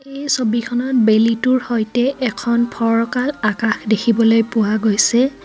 এই ছবিখনত বেলিতোৰ সৈতে এখন ফৰকাল আকাশ দেখিবলৈ পোৱা গৈছে.